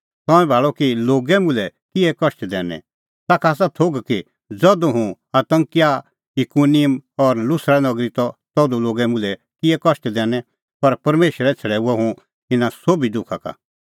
तंऐं भाल़अ कि लोगै मुल्है किहै कष्ट दैनै ताखा आसा थोघ कि ज़धू हुंह अन्ताकिया इकुनिम और लुस्रा नगरी त तधू लोगै मुल्है किहै कष्ट दैनै पर परमेशरै छ़ड़ैऊअ हुंह इना सोभी दुखा का